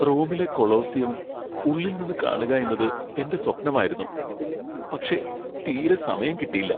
റോമിലെ കൊളോസിയം ഉള്ളിൽ നിന്ന് കാണുകയെന്നത് എന്റെ സ്വപ്നമായിരുന്നു, പക്ഷേ തീരെ സമയം കിട്ടീല്ല.